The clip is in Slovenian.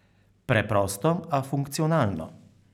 Preprosto, a funkcionalno.